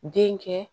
Den kɛ